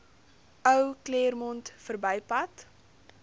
ou claremont verbypad